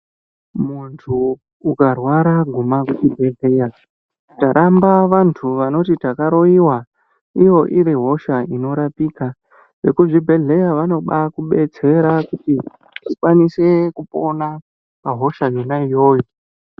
Muntu ukarwara guma kuchibhedhleya. Taramba vantu vanoti vakaroyiwa iyo iri hosha inorapika. Vekuzvibhehleya . vanobaakubetsera kuti ukwanise kupona pahosha yona iyoyo.